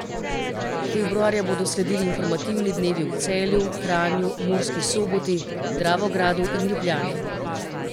Februarja bodo sledili informativni dnevi v Celju, Kranju, Murski Soboti, Dravogradu in Ljubljani.